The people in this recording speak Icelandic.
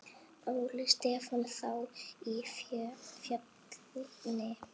Óli Stefán þá í Fjölni?